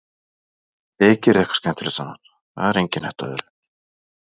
Þið gerið eitthvað skemmtilegt saman, það er engin hætta á öðru.